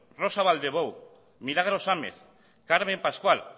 rosa balldellou milagros amez carmen pascual